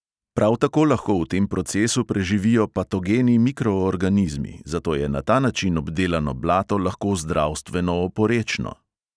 Prav tako lahko v tem procesu preživijo patogeni mikroorganizmi, zato je na ta način obdelano blato lahko zdravstveno oporečno.